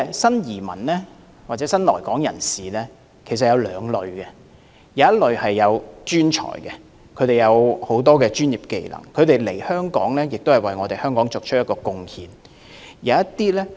新移民或新來港人士有兩類，一類是專才，他們有專業技能，來港後為香港作出貢獻。